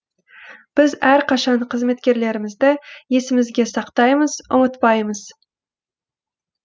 біз әрқашан қызметкерлерімізді есімізге сақтаймыз ұмытпаймыз